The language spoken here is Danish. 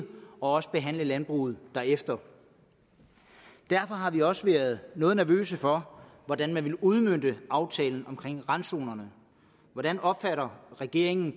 også behandle landbruget derefter derfor har vi også været noget nervøse for hvordan man vil udmønte aftalen om randzonerne hvordan opfatter regeringen